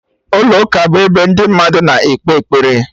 Ụlọ ụka bụ ebe ndị mmadụ na-ekpe ekpere